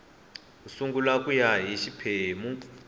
sungula ku ya hi xiphemu